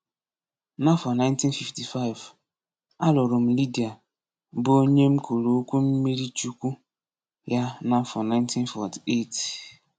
N'afọ 1955, a lụrụ m Lidia, bụ onye m kwuru okwu mmirichukwu ya n’afọ 1948.